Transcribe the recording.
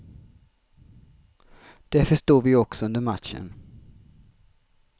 Det förstod vi också under matchen.